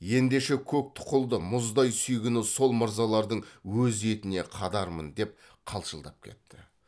ендеше көк тұқылды мұздай сүйгіні сол мырзалардың өз етіне қадармын деп қалшылдап кетті